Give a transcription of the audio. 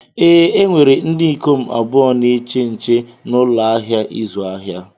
Ee, e nwere ndị ikom abụọ na-eche nche na ụlọ ahịa ịzụ ahịa.